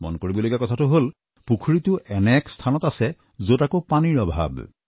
মন কৰিবলগীয়া কথাটো হল পুখুৰীটো এনে এক স্থানত আছে যত আকৌ পানীৰ অভাৱ